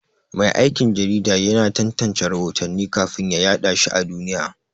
Mai aikin jarida yana tantance rahotanni kafin ya yaɗa shi a duniya.